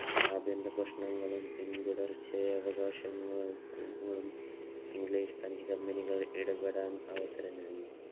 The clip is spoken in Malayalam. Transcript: ആഭ്യന്തര പ്രശ്നങ്ങളും പിന്തുടർച്ചയായ അവകാശ പ്രശ്നങ്ങളും ഇംഗ്ലീഷ് രണ്ട് Compny കളും ഇടപെടാൻ അവസരം നൽകി.